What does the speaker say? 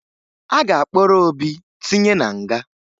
A ga-akpọrọ Obi tinye na nga